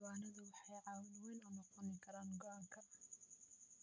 Diiwaanadu waxay caawin weyn u noqon karaan go'aanka.